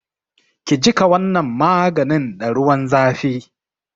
Ki jiƙa wannan maganin da ruwan zafi!